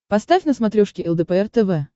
поставь на смотрешке лдпр тв